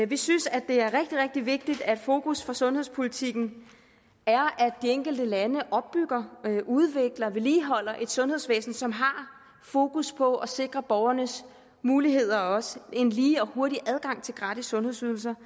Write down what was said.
vi synes at det er rigtig rigtig vigtigt at fokus for sundhedspolitikken er at de enkelte lande opbygger udvikler vedligeholder et sundhedsvæsen som har fokus på at sikre borgernes muligheder og også en lige og hurtig adgang til gratis sundhedsydelser